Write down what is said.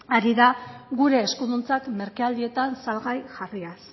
ari da gure eskuduntzak merkealdietan salgai jarriaz